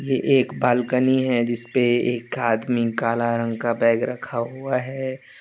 ये एक बालकनी है जिसपे एक आदमी काला रंग का बैग रखा हुआ है।